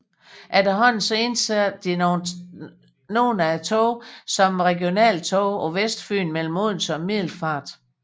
Efterhånden indsattes nogle af togene også som regionaltog på Vestfyn mellem Odense og Middelfart